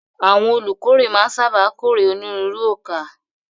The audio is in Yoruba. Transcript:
Àwọn olùkórè máa ń sáábà kórè onírúurú ọkà.